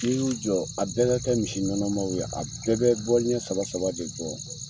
Ni y'u jɔ, a bɛɛ ka kɛ misinɔnɔmaw ye, a bɛɛ bɛ ɲɛ saba saba de bɔ.